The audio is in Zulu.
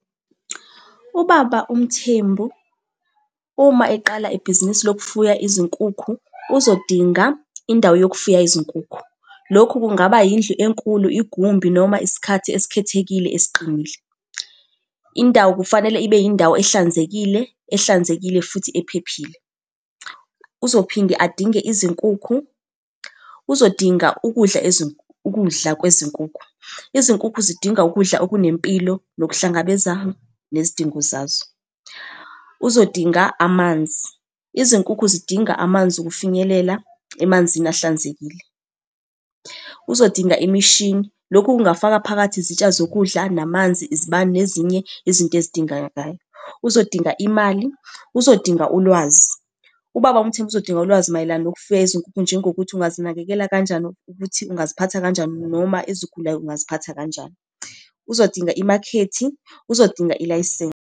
Ubaba uMthembu, uma eqala ibhizinisi lokufuya izinkukhu, uzodinga indawo yokufuya izinkukhu. Lokhu kungaba yindlu enkulu igumbi noma isikhathi esikhethekile esiqinile. Indawo kufanele ibe yindawo ehlanzekile, ehlanzekile futhi ephephile. Uzophinde adinge izinkukhu, uzodinga ukudla ukudla kwezinkukhu. Izinkukhu zidinga ukudla okunempilo nokuhlangabeza nezidingo zazo. Uzodinga amanzi, izinkukhu zidinga amanzi ukufinyelela emanzini ahlanzekile. Uzodinga imishini, lokhu kungafaka phakathi izitsha zokudla, namanzi, izibani, nezinye izinto ezidingakalayo. Uzodinga imali, uzodinga ulwazi. Ubaba uMthembu uzodinga ulwazi mayelana nokufuya izinkukhu, njengokuthi ungazinakekela kanjani ukuthi ungaziphatha kanjani, noma ezigulayo ungaziphatha kanjani. Uzodinga imakhethi, uzodinga ilayisensi.